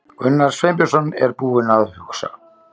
Gunnar Sveinbjörnsson er búinn að hugsa.